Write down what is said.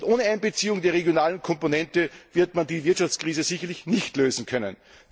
Ohne Einbeziehung der regionalen Komponente wird man die Wirtschaftskrise sicherlich nicht lösen können.